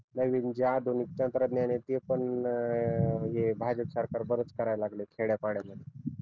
नवीन जे आधुनिक तंत्रज्ञान आहे ते पण अं हे भाजप सरकार बराच करायला लागलय खेड्यापाड्या मध्ये